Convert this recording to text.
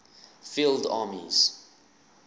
field armies